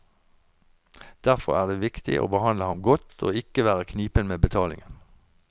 Derfor er det viktig å behandle ham godt og ikke være knipen med betalingen.